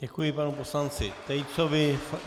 Děkuji panu poslanci Tejcovi.